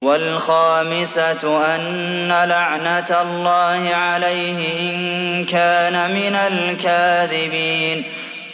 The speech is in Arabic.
وَالْخَامِسَةُ أَنَّ لَعْنَتَ اللَّهِ عَلَيْهِ إِن كَانَ مِنَ الْكَاذِبِينَ